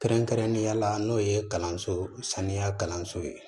Kɛrɛnkɛrɛnnenya la n'o ye kalanso saniya kalanso ye